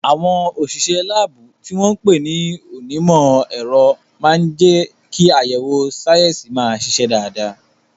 Àwọn òṣìṣẹ́ láàbù, tí wọ́n ń pè ní onímọ̀ ẹ̀rọ, máa ń jẹ́ kí àyẹ̀wò sáyẹ́sì máa ṣiṣẹ́ dáadáa.